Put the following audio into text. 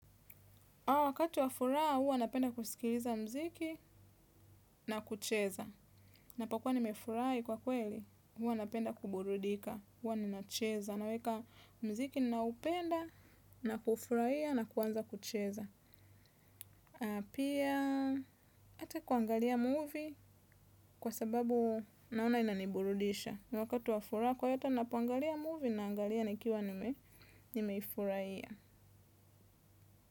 Wakati wafuraha, huwa napenda kusikiliza muziki na kucheza. Napokuwa ni mefurahi kwa kweli, huwa napenda kuburudika, huwa ninacheza. Naweka mziki ninaopenda, na ku ufurahia, na kuanza kucheza. Pia, hata kuangalia movie kwa sababu naona inaniburudisha. Wakati wafuraha, kwa hiyo hata ninapoangalia movie na angalia nikiwa nimeifurahia.